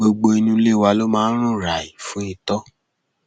gbogbo inú ilé wa ló mà rún ràì fún itọ